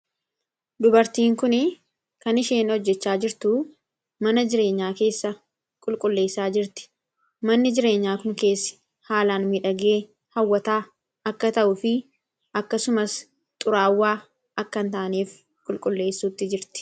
dubartiin kun kan isheen hojjechaa jirtu mana jireenyaa keessa qulqulleessaa jirti. manni jireenyaa kun keessa haalaan midhagee hawwataa akka ta'u fi akkasumas xuraawwaa akka hin taaneef qulqulleessuutti jirti.